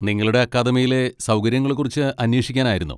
നിങ്ങളുടെ അക്കാദമിയിലെ സൗകര്യങ്ങളെക്കുറിച്ച് അന്വേഷിക്കാനായിരുന്നു.